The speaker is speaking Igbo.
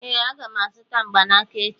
ee, aga m azụta mgbanaka echi